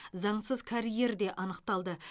заңсыз карьер де анықталды